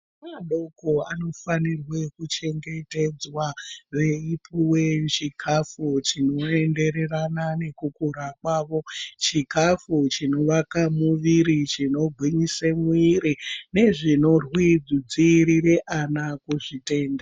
Ana adoko anofanirwe kuchengetedzwa. Veipuwe chikafu chinoendererana nekukura kwavo. Chikafu chinoakae muviri, chinogwinyise muiri nezvinodzivirire ana kuzvitenda.